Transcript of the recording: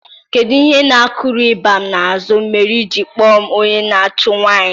Kedu ihe na-akuru ịgba na azụ mere iji akpọ m onye na-achụ nwanyị?